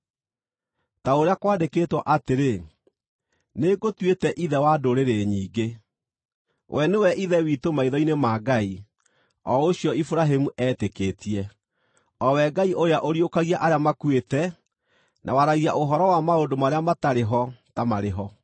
Ta ũrĩa kwandĩkĩtwo atĩrĩ: “Nĩngũtuĩte ithe wa ndũrĩrĩ nyingĩ.” We nĩwe ithe witũ maitho-inĩ ma Ngai, o ũcio Iburahĩmu eetĩkĩtie, o we Ngai ũrĩa ũriũkagia arĩa makuĩte, na waragia ũhoro wa maũndũ marĩa matarĩ ho ta marĩ ho.